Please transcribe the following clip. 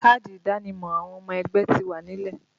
Káàdì ìdánimọ̀ àwọn ọmọ ẹgbẹ́ ti wà nílẹ̀